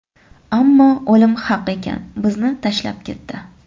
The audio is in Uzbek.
Ammo o‘lim haq ekan, bizni tashlab ketdi.